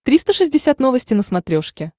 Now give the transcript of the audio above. триста шестьдесят новости на смотрешке